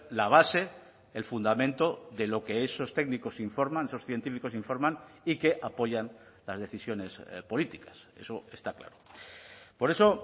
la base el fundamento de lo que esos técnicos informan esos científicos informan y que apoyan las decisiones políticas eso está claro por eso